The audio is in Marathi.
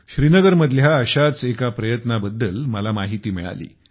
श्रीनगर मधल्या अशाच एका प्रयत्नाबाबत मला माहिती मिळाली